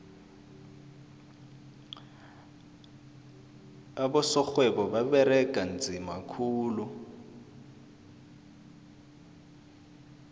abosorhwebo baberega nzima khulu